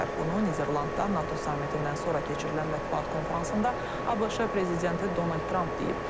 Bunu Niderlandda NATO sammitindən sonra keçirilən mətbuat konfransında ABŞ prezidenti Donald Tramp deyib.